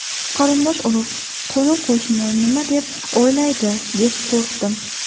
Qarindosh-urug‘, qo‘ni-qo‘shni nima deb o‘ylaydi, deb qo‘rqdim.